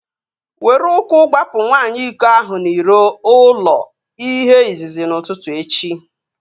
Were ụkwụ gbapụ nwaanyị iko ahụ n'iro ụlọ ihe izizi n'ụtụtụ echi!